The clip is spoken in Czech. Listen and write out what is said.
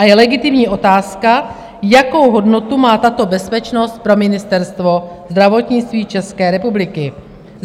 A je legitimní otázka, jakou hodnotu má tato bezpečnost pro Ministerstvo zdravotnictví České republiky.